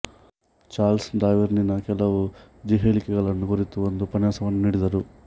Charles ಡಾರ್ವಿನ್ನಿನ ಕೆಲವು ಜ್ಹೇಳಿಕೆಗಳನ್ನು ಕುರಿತು ಒಂದು ಉಪನ್ಯಾಸವನ್ನು ನೀಡಿದರು